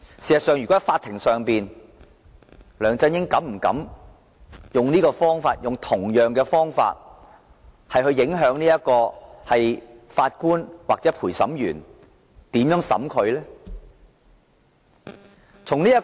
如果事件由法庭處理，梁振英會否膽敢以同樣的方法來影響法官或陪審員對他的審判？